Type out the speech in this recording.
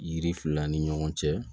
Yiri fila ni ɲɔgɔn cɛ